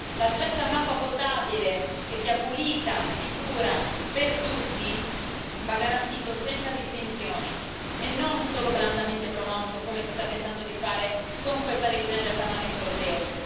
L'accesso a un'acqua potabile che sia pulita e sicura per tutti va garantito senza distinzioni e non solo blandamente promosso come si sta tentando di fare con questa revisione del Parlamento europeo.